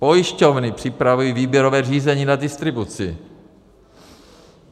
Pojišťovny připravují výběrové řízení na distribuci.